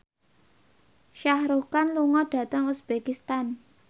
Shah Rukh Khan lunga dhateng uzbekistan